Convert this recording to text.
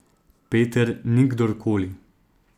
Peter ni kdorkoli.